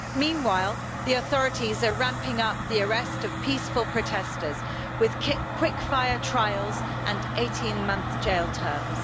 Meanwhile the authorities are ramping up the arrest of peaceful protesters with quick fire trials and 18-month jail terms.